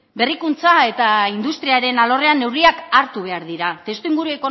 berrikuntza eta industriaren alorrean neurriak hartu behar dira testuinguru